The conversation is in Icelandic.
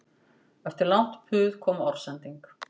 Eftir langt puð kom orðsending